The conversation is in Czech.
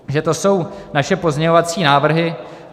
Takže to jsou naše pozměňovací návrhy.